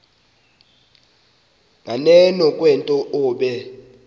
nganeno kwento obe